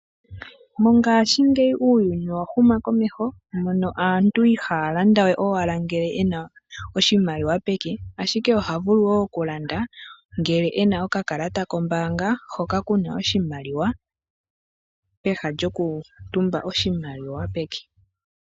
Mongaashingeyi uuyuni owa huma komeho, mono aantu ihaya landa we owala ngele yena oshimaliwa peke ashike oha vulu wo okulanda ngele e na okakalata kombaanga hoka kuna oshimaliwa peha lyokutumba oshimaliwa peke.